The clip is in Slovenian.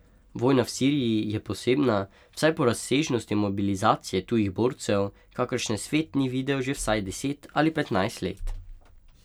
Vojna v Siriji je posebna, vsaj po razsežnosti mobilizacije tujih borcev, kakršne svet ni videl že vsaj deset ali petnajst let.